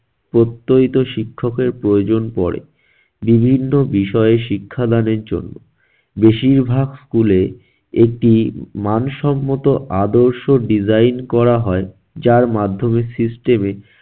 প্রত্যয়িত শিক্ষকের প্রয়োজন পড়ে বিভিন্ন বিষয়ে শিক্ষাদানের জন্য, বেশিরভাগ school এ একটি মানসম্মত আদর্শ design করা হয় যার মাধ্যমে system এ